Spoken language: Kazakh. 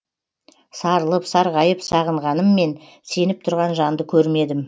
сарылып сарғайып сағынғаныммен сеніп тұрған жанды көрмедім